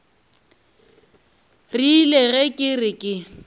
rile ge ke re ke